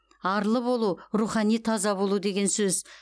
арлы болу рухани таза болу деген сөз